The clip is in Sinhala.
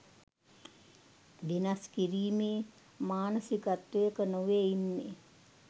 වෙනස් කිරීමේ මානසිකත්වයක නොවේ ඉන්නෙ.